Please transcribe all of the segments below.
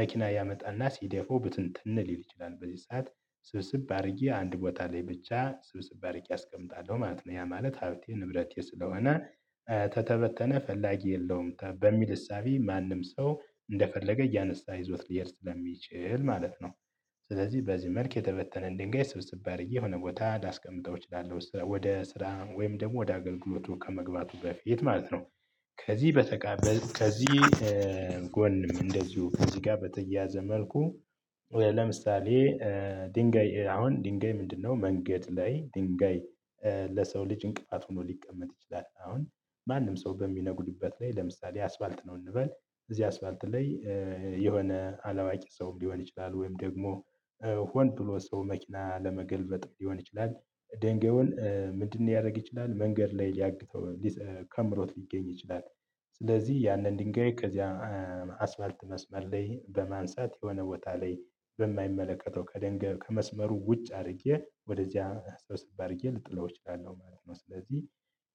መኪና ያመጣና ሲደፉው ብትንትን ሊል ይችላል በዚህ ሰዓት ስብስብ አድርጌ አንድ ቦታ ላይ ብቻ ስብስብ አድርጌ አስቀምጣለሁ ማለት ነው። ያ ማለት ሀብቴ ንብረቴ ስለሆነ ተተበተነ ፈላጊ የለውም በሚል እሳቤ ማንም ሰው እንደፈለገ እያነሳ ይዞት ሊሄድ ለሚችል ማለት ነው። ስለዚህ በዚህ መልክ የተበተነ ድንጋይ ስብስብ አድርጌ የሆነ ቦታ ላስቀምጠው እችላለሁ ወደ ስራ ወይም ደግሞ ወደ አገልግሎቱ ከመግባቱ በፊት ማለት ነው። ከዚህ በተቃበ ከዚህ ጎንም እንደዚሁ ከዚህ ጋር በተያያዘ መልኩ። ለምሳሌ ድንጋይ አሁን ድንጋይ ምንድነው? መንገድ ላይ ድንጋይ ለሰው ልጅ እንቅፋት ሆኖ ሊቀመጥ ይችላል። አሁን ማንም ሰው በሚነጉድበት ላይ ለምሳሌ አስፋልት ነው እንበል እዚህ አስፋልት ላይ የሆነ አለዋቂ ሰው ሊሆን ይችላል። ወይም ደግሞ ሆን ብሎ ሰው መኪና ለመገልበጥም ሊሆን ይችላል። ድንጋውን ምንድን ሊያደርግ ይችላል መንገድ ላይ ሊያግተው ከምሮት ሊገኝ ይችላል። ስለዚህ ያንን ድንጋይ ከዚያ አስፋልት መስመር ላይ በማንሳት የሆነ ቦታ ላይ በማይመለከተው ከደንጋይ ከመስመሩ ውጭ አድርጌ ወደዚያ ሰብስብ አድርጌ ልጥለው እችላለሁ ማለት ነው። ስለዚህ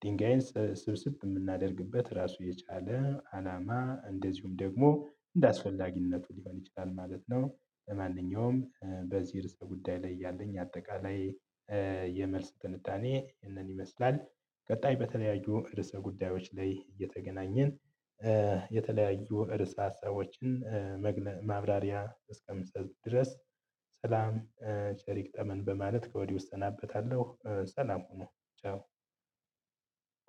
ድንጋይን ስብስብ የምናደርግበት ራሱ የቻለ አላማ እንደዚሁም ደግሞ እንደአስፈላጊነቱ ሊሆን ይችላል ማለት ነው። ማንኛውም በዚህ ርዕስ በጉዳይ ላይ ያለኝ አጠቃላይ የመልስ ትንታኔ ይህንን ይመስላል። ቀጣይ በተለያዩ ርዕሰ ጉዳዮች ላይ እየተገናኘን የተለያዩ ረዕሰ ሀሳቦችን ማብራሪያ እስከምሰጥ ድረስ። ሰላም ቸር ይግጠመን በማለት ከወዲህ እሰናበታለሁ። ሰላም ሁኑ ቻው።